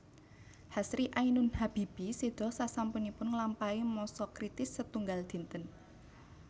Hasri Ainun Habibie séda sasampunipun nglampahi masa kritis setunggal dinten